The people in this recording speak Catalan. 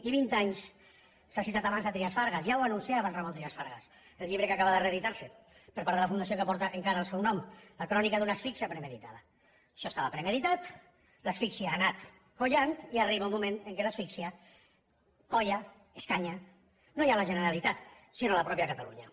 i vint anys s’ha citat abans trias fargas ja ho anunciava el ramon trias fargas en el llibre que acaba de reeditar se per part de la fundació que porta encara el seu nom crònica d’una asfíxia premeditadapremeditat l’asfíxia ha anat collant i arriba un moment en què l’asfíxia colla escanya no ja la generalitat sinó la mateixa catalunya